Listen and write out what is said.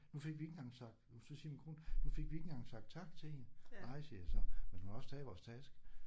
Nu fik vi ikke engang sagt så siger min kone nu fik vi ikke engang sagt tak til hende. Nej siger jeg så men hun har også taget vores taske